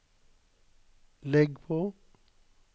legg på